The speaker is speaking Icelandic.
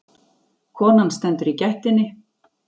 Konan stendur í gættinni.